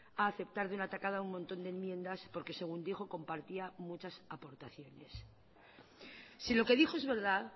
a aceptar de una tacada un montón de enmiendas porque según dijo compartía muchas aportaciones si lo que dijo es verdad